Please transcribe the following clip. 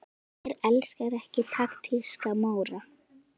Hver elskar ekki taktíska Móra?